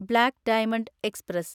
black diamond express